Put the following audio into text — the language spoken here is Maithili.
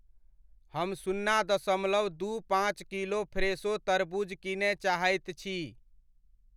हम सुन्ना दशमलव दू पाँच किलो फ़्रेशो तरबूज किनय चाहैत छी।